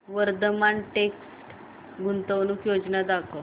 Vardhman text गुंतवणूक योजना दाखव